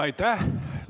Aitäh!